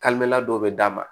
dɔw bɛ d'a ma